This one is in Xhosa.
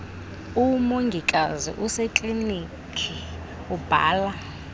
umongikazi osekliniki ubhala